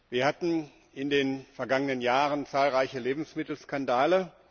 Wir hatten in den vergangenen Jahren zahlreiche Lebensmittelskandale.